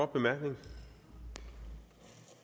beløb